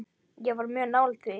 Ég var mjög nálægt því.